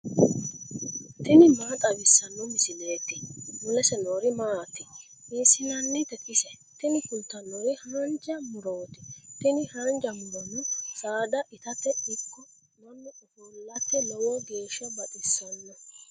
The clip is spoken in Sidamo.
tini maa xawissanno misileeti ? mulese noori maati ? hiissinannite ise ? tini kultannori haanja murooti. tini haanja murono saada itate ikko mannu ofollate lowo geeshsha baxissanno.